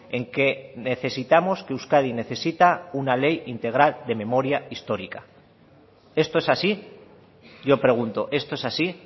en que necesitamos que euskadi necesita una ley integral de memoria histórica esto es así yo pregunto esto es así